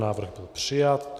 Návrh je přijat.